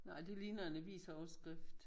Nej det ligner en avisoverskrift